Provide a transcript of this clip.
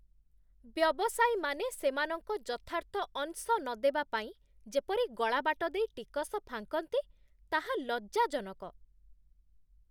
ବ୍ୟବସାୟୀମାନେ ସେମାନଙ୍କ ଯଥାର୍ଥ ଅଂଶ ନ ଦେବା ପାଇଁ ଯେପରି ଗଳାବାଟ ଦେଇ ଟିକସ ଫାଙ୍କନ୍ତି, ତାହା ଲଜ୍ଜାଜନକ।